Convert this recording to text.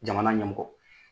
Jamana ɲɛmɔgɔ.